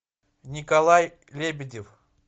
николай лебедев